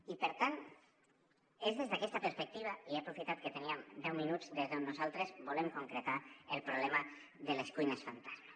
i per tant és des d’aquesta perspectiva i he aprofitat que teníem deu minuts des d’on nosaltres volem concretar el problema de les cuines fantasma